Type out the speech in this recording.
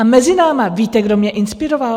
A mezi námi, víte, kdo měl inspiroval?